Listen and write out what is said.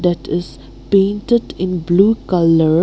it is painted in blue colour.